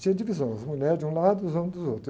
Tinha divisão, as mulheres de um lado, os homens dos outros.